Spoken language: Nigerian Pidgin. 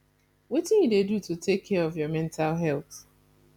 wetin you dey do to take care of your mental health